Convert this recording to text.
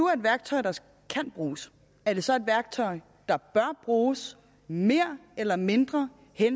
er et værktøj der kan bruges er det så et værktøj der bør bruges mere eller mindre